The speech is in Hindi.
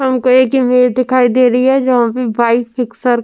हमको एक इमेज दिखाई दे रही है जहाँ पे वाइट फ़िक्सर --